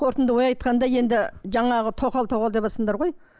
қортынды ой айтқанда енді жаңағы тоқал тоқал деватсыңдар ғой